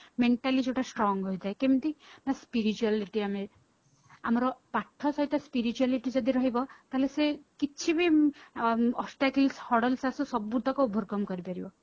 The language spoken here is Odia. mentally ଯୋଉଟା strong ହେଇଥାଏ କେମିତି ନା spirituality ଆମେ ଆମର ପାଠ ସହିତ spirituality ଯଦି ରହିବ ତାହାଲେ ସେ କିଛି ବି obstacle ସବୁତକ overcome କରି ପାରିବା